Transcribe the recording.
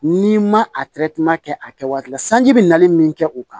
N'i ma a kɛ a kɛ waati la sanji bɛ nali min kɛ o kan